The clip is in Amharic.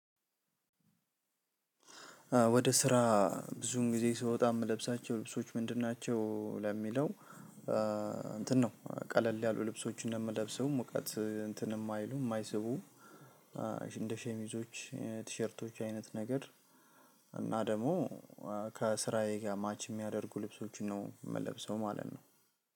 ወደ ስራ ብዙን ጊዜ ስወጣ የምለብሳቸው ልብሶች ምንድን ናቸው? ለሚለው እንትን ነው ቀለል ያሉ ልብሶችን ነው እምለብሰው። ሙቀት እንትን እማይሉ እማይስቡ እንደ ሸሚዞች ቲሸርቶች አይነት ነገር። እና ደሞ ከስራዬ ጋር ማች እሚያደርጉ ልብሶችን ነው እምለብሰው ማለት ነው።